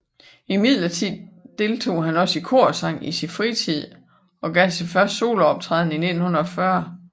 Imidlertid deltog han også i korsang i sin fritid og gav sin første solooptræden i 1940